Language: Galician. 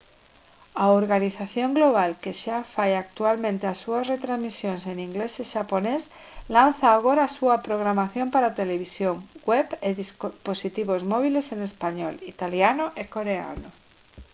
a organización global que xa fai actualmente as súas retransmisións en inglés e xaponés lanza agora a súa programación para televisión web e dispositivos móbiles en español italiano e coreano